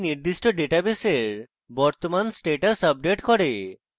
এটি নির্দিষ্ট ডাটাবেসের বর্তমান status আপডেট করে